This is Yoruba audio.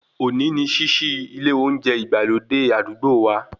Òní ni ṣíṣí ilé olóúnjẹ ìgbàlódé àdúgbò wa